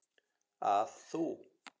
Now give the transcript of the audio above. að þú.